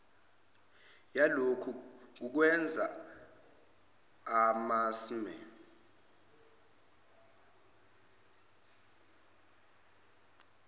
yalokhu ngukwenza amasmme